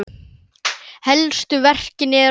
Helstu verkin eru